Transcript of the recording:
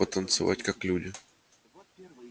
потанцевать как люди